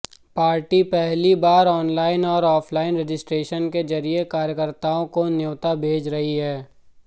party पहली बार online और ऑफलाइन रजिस्ट्रेशन के ज़रिए कार्यकर्ताओं को न्यौता भेज रही है